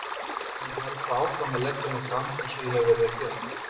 Ég mun halda áfram að leggja mig fram eins og ég hef verið að gera.